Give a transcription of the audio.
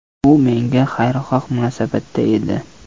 U menga xayrixoh munosabatda edi.